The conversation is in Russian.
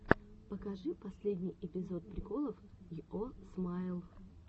покажи последний эпизод приколов йо смайл